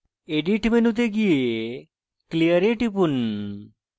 edit মেনুতে go clear এ টিপুন